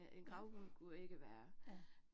Ja. Ja